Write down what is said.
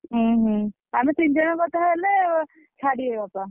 ହୁଁ ହୁଁ ଆମେ ତିନି ଜଣ ବୋଧେ ହେଲେ ଛାଡିବେ ବାପା।